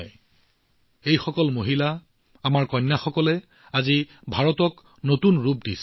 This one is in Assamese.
এনে সকলো মহিলাই আমাৰ কন্যাসকলে আজি ভাৰত আৰু ভাৰতৰ সপোনক শক্তি প্ৰদান কৰিছে